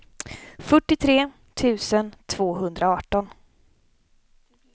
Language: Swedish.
fyrtiotre tusen tvåhundraarton